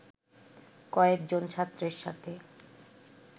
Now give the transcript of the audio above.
কয়েকজন ছাত্রের সাথে